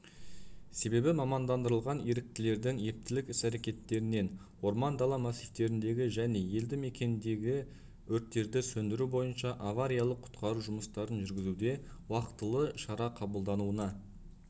себебі мамандандырылған еріктілердің ептілік іс-әрекетінен орман-дала массивтеріндегі және елді мекендердегі өрттерді сөндіру бойынша авариялық құтқару жұмыстарын жүргізуде уақтылы шара қабылдауына